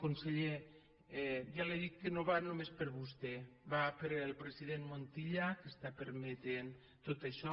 conseller ja li dic que no va només per vostè va per al president montilla que està permetent tot això